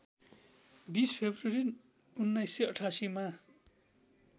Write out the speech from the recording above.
२० February १९८८ मा